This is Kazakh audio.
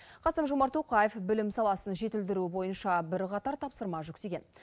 қасым жомарт тоқаев білім саласын жетілдіру бойынша бірқатар тапсырма жүктеген